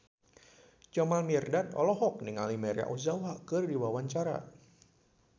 Jamal Mirdad olohok ningali Maria Ozawa keur diwawancara